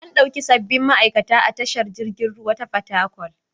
An ɗauki sabbin ma'aikata a tashar jiragen ruwa ta Fatakwal.